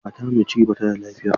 Matar mai ciki ba ta da lafiya.